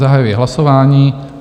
Zahajuji hlasování.